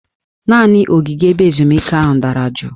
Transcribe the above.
Naanị ogige ebe ezumike ahụ dara juu